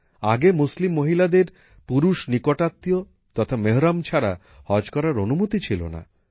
আগে মুসলিম মহিলাদের পুরুষ নিকটাত্মীয় তথা মেহরম ছাড়া হজ করার অনুমতি ছিল না